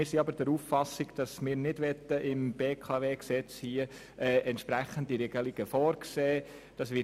Wir sind aber der Auffassung, dass wir im BKW-Gesetz keine entsprechende Regelung vorzusehen brauchen.